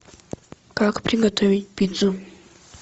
как приготовить пиццу